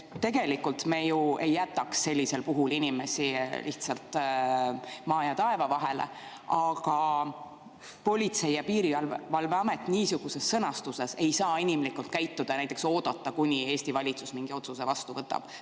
Tegelikult me ju ei jätaks sellisel puhul inimesi lihtsalt maa ja taeva vahele, aga Politsei‑ ja Piirivalveamet niisuguse sõnastuse korral ei saa inimlikult käituda, näiteks oodata, kuni Eesti valitsus mingi otsuse vastu võtab.